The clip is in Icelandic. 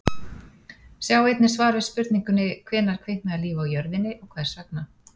Sjá einnig svar við spurningunni: Hvenær kviknaði líf á jörðinni og hvers vegna?